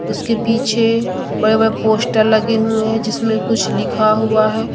उसके पीछे बड़े बड़े पोस्टर लगे हुए हैं जिसमें कुछ लिखा हुआ हैं।